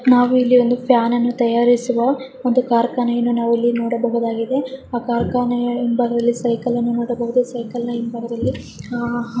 ನಾವು ಇಲ್ಲಿ ಒಂದು ಫ್ಯಾನ್ ಅನ್ನು ತಯಾರಿಸುವ ಒಂದು ಕಾರ್ಖಾನೆಯನ್ನು ಸಹ ನಾವು ನೋಡಬಹುದಾಗಿದೆ. ಆ ಕಾರ್ಖಾನೆಯ ಹಿಂಭಾಗದಲ್ಲಿ ಸೈಕಲ್ ಮಾಡಬಹುದು ಅ ಸೈಕಲ್ ನಿನ್ನ ಹಿಂಭಾಗದಲ್ಲಿ --